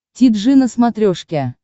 ти джи на смотрешке